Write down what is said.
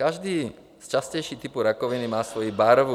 Každý z častějších typů rakoviny má svoji barvu.